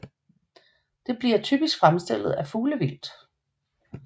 Den bliver typisk fremstillet af fuglevildt